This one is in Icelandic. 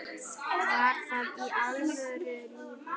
Var það í öðru lífi?